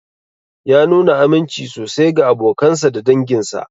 Ya nuna aminci sosai ga abokansa da danginsa.